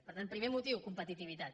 per tant primer motiu competitivitat